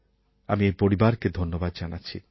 আমি এই পরিবারকে ধন্যবাদ জানাচ্ছি